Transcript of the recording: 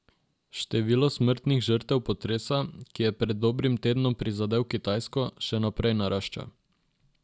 Število smrtnih žrtev potresa, ki je pred dobrim tednom prizadel Kitajsko, še naprej narašča.